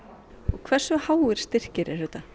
hversu háir styrkir eru þetta